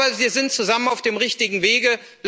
Aber wir sind zusammen auf dem richtigen Wege.